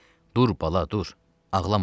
Dur bala, dur, ağlama.